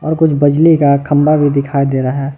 और कुछ बजली का खंबा भी दिखाई दे रहा है।